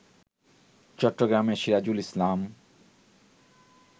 চট্টগ্রামের সিরাজুল ইসলাম